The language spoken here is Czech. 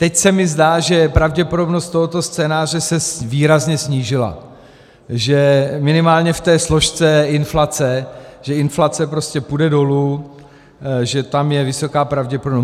Teď se mi zdá, že pravděpodobnost tohoto scénáře se výrazně snížila, že minimálně v té složce inflace, že inflace prostě půjde dolů, že tam je vysoká pravděpodobnost.